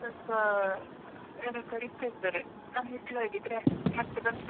ಸ್ವಲ್ಪ ಯಾರೋ ಕರೀತಾ ಇದ್ದಾರೆ ನಾನಿಡ್ಲಾ ಹಾಗಿದ್ರೆ ಮತ್ತೆ ಬಂದ್ಮೇಲೆ call ಮಾಡಿ.